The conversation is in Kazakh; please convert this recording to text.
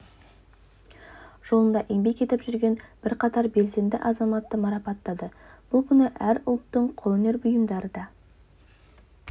жолында еңбек етіп жүрген бірқатар белсенді азаматты марапаттады бұл күні әр ұлттың қолөнер бұйымдары да